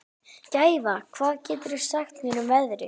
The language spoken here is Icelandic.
Gæfa, hvað geturðu sagt mér um veðrið?